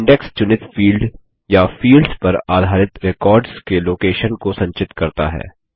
index चुनित field या fields पर आधारित रेकॉर्ड्स के लोकेशन स्थान को संचित करता है